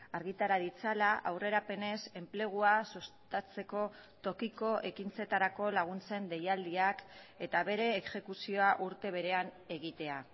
argitara ditzala aurrerapenez enplegua sustatzeko tokiko ekintzetarako laguntzen deialdiak eta bere exekuzioa urte berean egitea